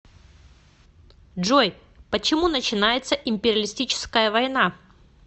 джой почему начинается империалистическая война